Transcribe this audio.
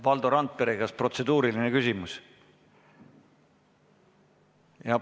Valdo Randpere, kas protseduuriline küsimus?